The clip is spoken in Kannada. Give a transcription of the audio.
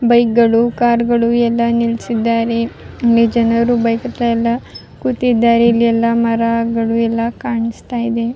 ಬೈಕ್ ಗಳು ಕಾರ್ಗಳು ಎಲ್ಲ ನಿಲ್ಸಿದ್ದರೆ ಇಲ್ಲಿ ಜನರು ಕೂತಿದ್ದಾರೆ ಇಲ್ಲಿ ಎಲ್ಲ ಮರಗಳು ಎಲ್ಲ ಕಾಣಿಸ್ತಾ ಇದೆ .